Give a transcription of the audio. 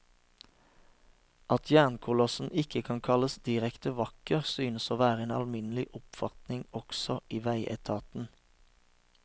At jernkolossen ikke kan kalles direkte vakker, synes å være en alminnelig oppfatning også i veietaten.